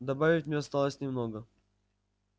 добавить мне осталось немного